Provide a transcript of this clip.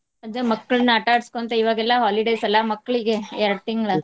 ಅದ ಮಕ್ಕಳ್ನ ಆಟಾ ಆಡಸ್ಕೊಂತ ಇವಗೆಲ್ಲಾ holidays ಅಲ್ಲಾ ಮಕ್ಳಿಗೆ ಎರ್ಡ್ ತಿಂಗಳ.